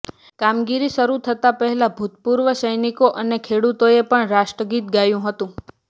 કામગીરી શરૂ થતાં પહેલાં ભૂતપૂર્વ સૈનિકો અને ખેડૂતોએ પણ રાષ્ટ્રગીત ગાયું હતું